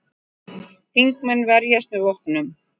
Þingmenn verjast með vopnum